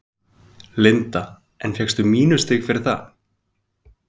Linda: En fékkstu mínusstig fyrir það?